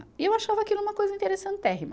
E eu achava aquilo uma coisa interessantérrima.